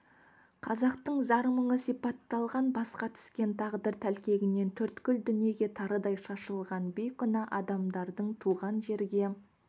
қазақтың зар-мұңы сипатталған басқа түскен тағдыр тәлкегінен төрткүл дүниеге тарыдай шашылған бейкүнә адамдардың туған жерге